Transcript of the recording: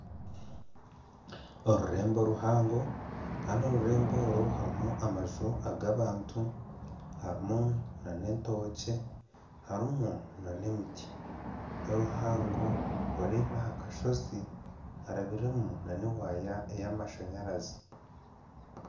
Orurembo oruhango, kandi orurembo oru harimu amaju ag'abantu, harimu n'entookye harimu n'emiti n'oruhango oruri n'aha kashozi harabiremu n'ewaaya eyamashanyaraze.